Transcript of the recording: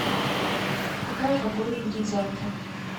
какая погода будет завтра